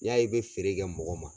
N'i y'a ye i bɛ feere kɛ mɔgɔ ma